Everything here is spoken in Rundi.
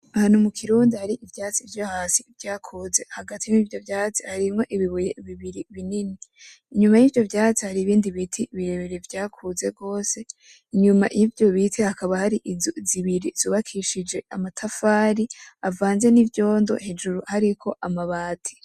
Ahantu mukirundi hari ivyatsi vyohasi vyakuze hagati y'ivyo vyatsi harimwo ibibuye binini inyuma yivyo vyatsi hariho ibindi biti birabire vyakuze gose inyuma yivyo biti hakaba har'inzu zibiri zubakishije amatafari avanze nivyondo hejuru hariko amabati.